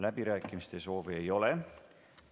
Läbirääkimiste soovi ei ole.